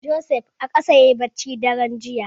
Joseph a ƙasa yayi bacci daren jiya.